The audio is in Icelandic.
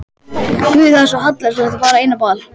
Guð, það er svo hallærislegt að fara ein á ball.